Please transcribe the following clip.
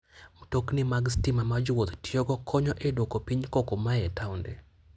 Mtokni mag stima ma jowuoth tiyogo konyo e duoko piny koko ma a e taonde.